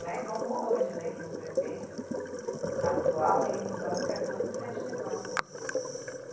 Não é como hoje, né, que o prefeito atual ele banca todo o festival, né?